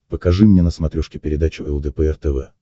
покажи мне на смотрешке передачу лдпр тв